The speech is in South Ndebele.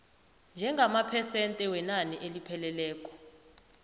njengamaphesente wenani elipheleleko